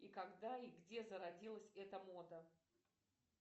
и когда и где зародилась эта мода